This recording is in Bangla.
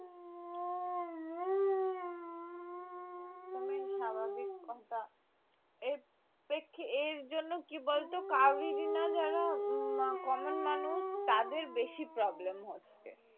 স্বাভাবিক কথা এর জন্য কি বলতো যারা common মানুষ তাদের বেশি problem হচ্ছে